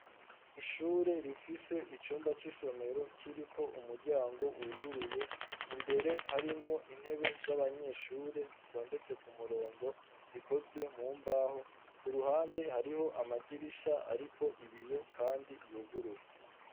Ishure rifise icumba c'isomero kiriko umuryango wuguruye, imbere harimwo intebe z'abanyeshure zitondetse ku murongo zikozwe mu mbaho, ku ruhande hariho amadirisha ariko ibiyo kandi yuguruye.